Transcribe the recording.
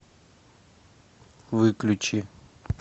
выключи